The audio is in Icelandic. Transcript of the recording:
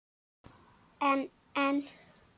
En en.